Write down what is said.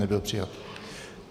Nebyl přijat.